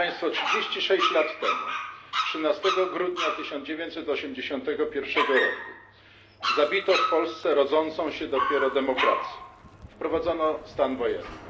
36 lat temu, 13 grudnia 1981 roku, zabito w Polsce rodzącą się dopiero demokrację, wprowadzono stan wojenny.